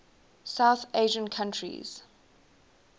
south asian countries